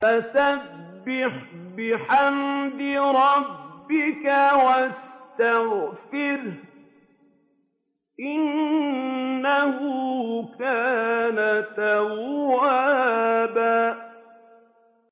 فَسَبِّحْ بِحَمْدِ رَبِّكَ وَاسْتَغْفِرْهُ ۚ إِنَّهُ كَانَ تَوَّابًا